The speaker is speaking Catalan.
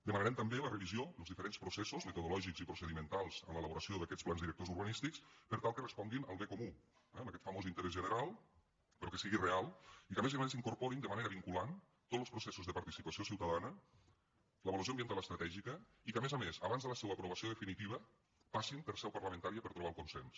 demanarem també la revisió dels diferents processos metodològics i procedimentals en l’elaboració d’aquests plans directors urbanístics per tal que responguin al bé comú eh a aquest famós interès general però que sigui real i que a més a més incorporin de manera vinculant tots los processos de participació ciutadana l’avaluació ambiental estratègica i que a més a més abans de la seua aprovació definitiva passin per seu parlamentària per trobar el consens